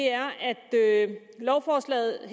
er at lovforslaget jo